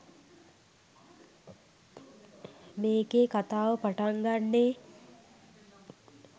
මේකේ කථාව පටන්ගන්නේ